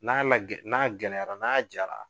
N'a lagɛ, n'a gɛlɛyara, n'a jara.